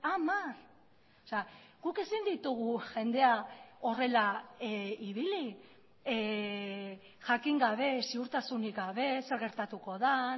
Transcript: hamar guk ezin ditugu jendea horrela ibili jakin gabe ziurtasunik gabe zer gertatuko den